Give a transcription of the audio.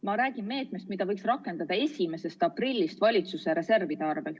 Ma räägin meetmest, mida võiks rakendada alates 1. aprillist valitsuse reservide varal.